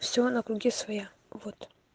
все на круги своя вот